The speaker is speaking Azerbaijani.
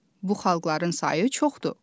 Bu xalqların sayı çoxdur.